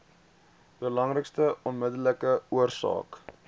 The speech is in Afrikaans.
belangrikste onmiddellike oorsake